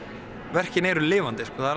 verkin eru lifandi það er